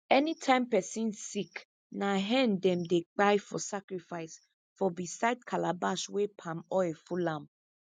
anytime person sick na hen them dey kpai for sacrifice for beside calabash wey palm oil full am